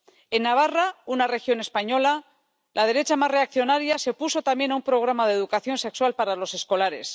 En Navarra, una región española, la derecha más reaccionaria se opuso también un programa de educación sexual para los escolares